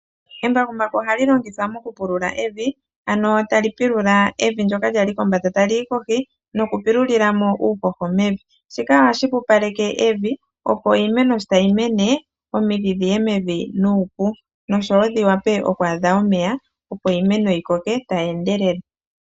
Embakumbaku ohali longithwa moku pulula evi, ano ta li pilula evi ndyoka lyali kombanda tali yi kohi noku pilulila mo uuhoho mevi. Shika ohashi pupaleke evi opo iimeno sho tayi mene omidhi dhiye mevi nuupu noshowo dhiwape oku adha omeya opo iimeno yi koke tayi endelele.